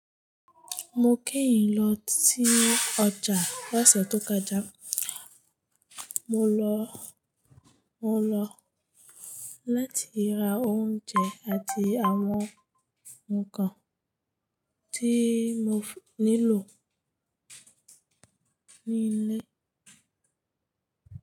Mo kẹ́yìn lọ sí ọjà lọ̀sẹ̀ tó kọjá. Mo lọ láti ra oúnjẹ àti àwọn nǹkan tí mo nílò nílé.